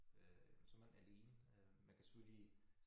Øh så man alene øh man kan selvfølgelig